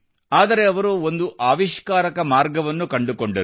ಆದರೆ ಅವರು ಒಂದು ಆವಿಷ್ಕಾರಕ ಮಾರ್ಗವನ್ನು ಕಂಡುಕೊಂಡರು